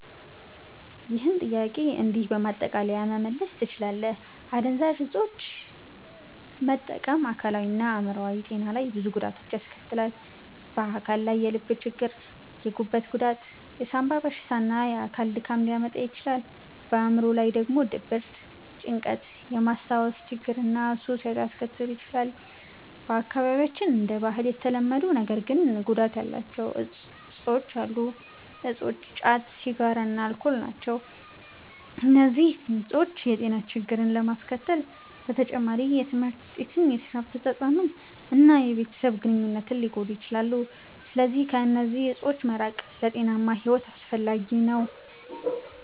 ይህን ጥያቄ እንዲህ በማጠቃለያ መመለስ ትችላለህ፦ አደንዛዥ እፆችን መጠቀም በአካላዊ እና በአዕምሮአዊ ጤና ላይ ብዙ ጉዳቶችን ያስከትላል። በአካል ላይ የልብ ችግር፣ የጉበት ጉዳት፣ የሳንባ በሽታ እና የአካል ድካም ሊያመጣ ይችላል። በአዕምሮ ላይ ደግሞ ድብርት፣ ጭንቀት፣ የማስታወስ ችግር እና ሱስ ሊያስከትል ይችላል። በአካባቢያችን እንደ ባህል የተለመዱ ነገር ግን ጉዳት ያላቸው እፆች ጫት፣ ሲጋራ እና አልኮል ናቸው። እነዚህ እፆች የጤና ችግሮችን ከማስከተል በተጨማሪ የትምህርት ውጤትን፣ የስራ አፈጻጸምን እና የቤተሰብ ግንኙነትን ሊጎዱ ይችላሉ። ስለዚህ ከእነዚህ እፆች መራቅ ለጤናማ ሕይወት አስፈላጊ ነው።